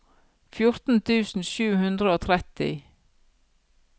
fjorten tusen sju hundre og tretti